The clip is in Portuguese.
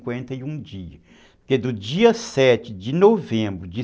cinquenta e um Porque do dia sete de novembro de